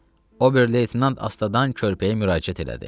Ober leytenant Asta dan körpəyə müraciət elədi.